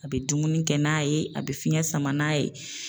A bi dumuni kɛ n'a ye, a bi fiɲɛ sama n'a ye